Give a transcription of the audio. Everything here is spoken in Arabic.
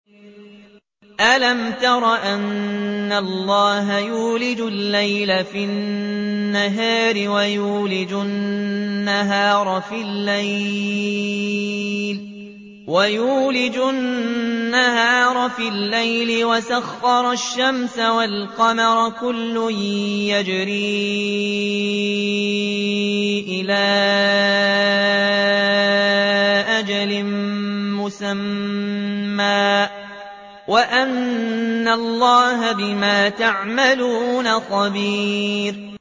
أَلَمْ تَرَ أَنَّ اللَّهَ يُولِجُ اللَّيْلَ فِي النَّهَارِ وَيُولِجُ النَّهَارَ فِي اللَّيْلِ وَسَخَّرَ الشَّمْسَ وَالْقَمَرَ كُلٌّ يَجْرِي إِلَىٰ أَجَلٍ مُّسَمًّى وَأَنَّ اللَّهَ بِمَا تَعْمَلُونَ خَبِيرٌ